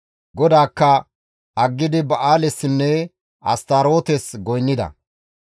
GODAAKKA aggidi Ba7aalessinne Astarootes goynnida.